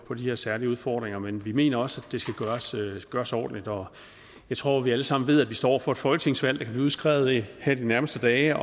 på de her særlige udfordringer men vi mener også at det skal gøres gøres ordentligt og jeg tror at vi alle sammen ved at vi står over for et folketingsvalg der kan blive udskrevet her de nærmeste dage